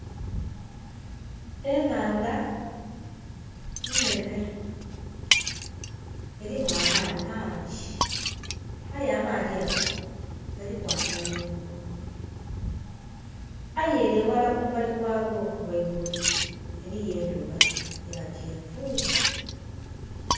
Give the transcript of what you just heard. Enhaandha nhenhe erimu amaadhi mangi aye amaadhi ago galiku amayengo aye ere eghala kumbali kwago ghaigulu eriyo endhuba ya kyenvu